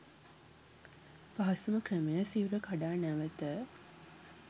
පහසුම ක්‍රමය සිවුර කඩා නැවත